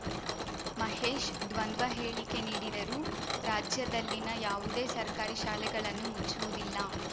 ಮಹೇಶ್‌ ದ್ವಂದ್ವ ಹೇಳಿಕೆ ನೀಡಿದರು ರಾಜ್ಯದಲ್ಲಿನ ಯಾವುದೇ ಸರ್ಕಾರಿ ಶಾಲೆಗಳನ್ನು ಮುಚ್ಚುವುದಿಲ್ಲ